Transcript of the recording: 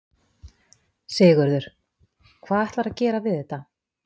Sigurður: Hvað ætlarðu að gera við þetta?